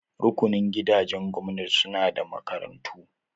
Rukunin gidajen gwamnati su na da makarantun?